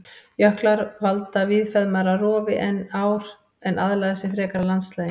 Jöklar valda víðfeðmara rofi en ár en aðlaga sig frekar landslaginu.